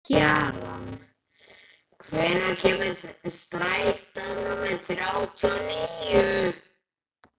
Kjaran, hvenær kemur strætó númer þrjátíu og níu?